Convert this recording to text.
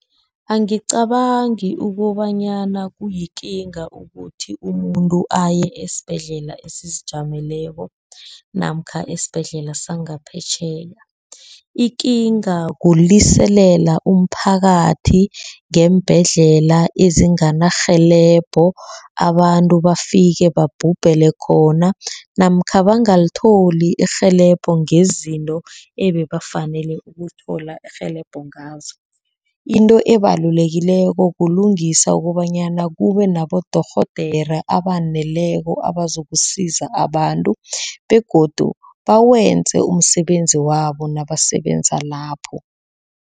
Angicabangi ukobanyana kuyikinga ukuthi umuntu aye esibhedlela esizijameleko namkha esibhedlela sangaphetjheya. Ikinga kuliselela umphakathi ngeembhedlela ezingana rhelebho. Abantu bafike babhubhele khona namkha bangalithola irhelebho ngezinto ebebafanele ukuthola irhelebho ngazo. Into ebalulekileko kulungisa kobanyana kube nabodorhodere abaneleko abazokusiza abantu begodu bawenze umsebenzi wabo nabasebenza lapho.